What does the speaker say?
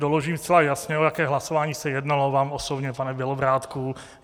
Doložím zcela jasně, o jaké hlasování se jednalo, vám osobně, pane Bělobrádku.